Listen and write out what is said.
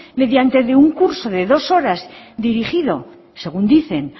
mediante de un curso de dos horas dirigido según dicen